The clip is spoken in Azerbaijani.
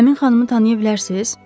Həmin xanımı tanıya bilərsiz?